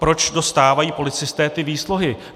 Proč dostávají policisté ty výsluhy?